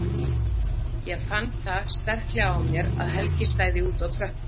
Ég fann það sterklega á mér að Helgi stæði úti á tröppum!